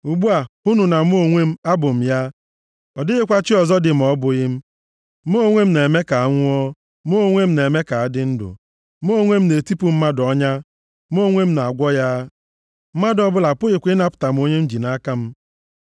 “Ugbu a, hụnụ na mụ onwe m abụ m ya! Ọ dịghịkwa chi ọzọ dị ma ọ bụghị m. Mụ onwe m na-eme ka a nwụọ, mụ onwe m na-eme ka a dị ndụ. Mụ onwe m na-etipụ mmadụ ọnya, mụ onwe m na-agwọ ya, mmadụ ọbụla apụghịkwa ịnapụta onye m ji nʼaka m.